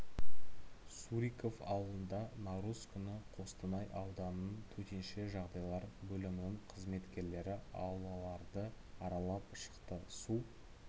суриков ауылында наурыз күні қостанай ауданының төтенше жағдайлар бөлімінің қызметкерлері аулаларды аралап шықты су